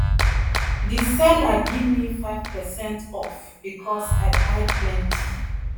the seller gimme 5 percent off because i buy plenty.